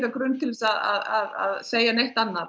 grunn til þess að segja neitt annað